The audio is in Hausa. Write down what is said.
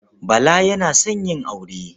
Bala yana son yin aure.